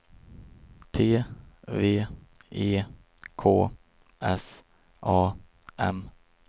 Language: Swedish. T V E K S A M